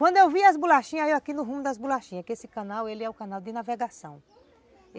Quando eu vi as bolachinhas, eu aqui no rumo das bolachinhas, que esse canal, ele é o canal de navegação.